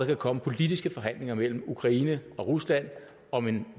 kan komme politiske forhandlinger mellem ukraine og rusland om en